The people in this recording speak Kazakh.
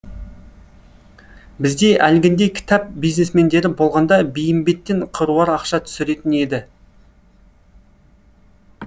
бізде әлгіндей кітап бизнесмендері болғанда бейімбеттен қыруар ақша түсіретін еді